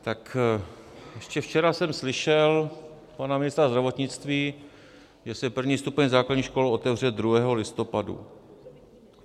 Tak ještě včera jsem slyšel pana ministra zdravotnictví, že se první stupeň základních škol otevře 2. listopadu.